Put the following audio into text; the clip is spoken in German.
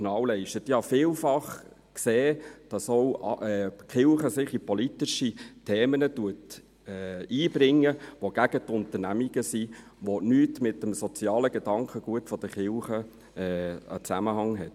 Ich habe vielfach gesehen, dass sich die Kirche auch in politische Themen einbringt, die gegen die Unternehmen gerichtet sind, ohne dass es mit dem sozialen Gedankengut der Kirche zusammenhängt.